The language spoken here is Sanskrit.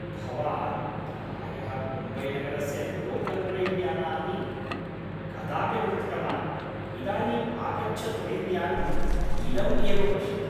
भवान् प्रायः मुम्बैनगरस्य लोकल् रैल्यानानि कदापि न दृष्टवान्, इदानीम् आगच्छत् रैल्यानम् इदम् एव पश्यतु।